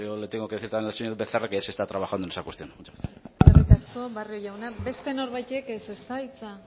yo le tengo que decir también al señor becerra que ya se está trabajando en esa cuestión muchas gracias eskerrik asko barrio jauna beste norbaitek ez ezta